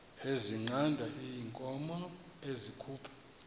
ezinqanda iinkomo ezikhupha